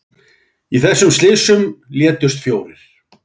Í þessum slysum létust fjórir